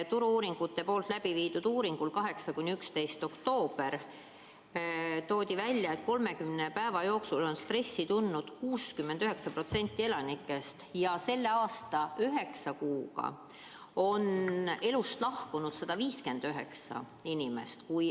Turu-uuringute läbiviidud uuringus 8.–11. oktoobrini toodi välja, et 30 päeva jooksul on stressi tundnud 69% elanikest ja selle aasta üheksa kuuga on elust lahkunud 159 inimest.